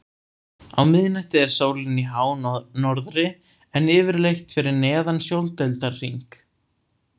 Á miðnætti er sólin í hánorðri en yfirleitt fyrir neðan sjóndeildarhring.